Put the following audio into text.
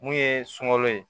Mun ye sunkalo ye